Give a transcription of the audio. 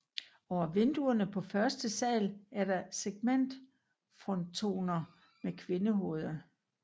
Over vinduerne på første sal er der segmentfrontoner med kvindehoveder